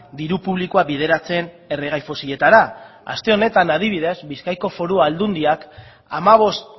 diru publikoa bideratzen erregai fosiletara aste honetan adibidez bizkaiko foru aldundiak hamabost